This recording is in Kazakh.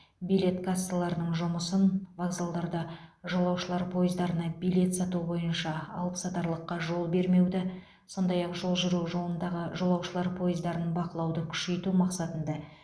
билет кассаларының жұмысын вокзалдарда жолаушылар пойыздарына билет сату бойынша алыпсатарлыққа жол бермеуді сондай ақ жол жүру жолындағы жолаушылар пойыздарын бақылауды күшейту мақсатында